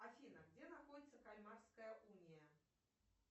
афина где находится кальмарская уния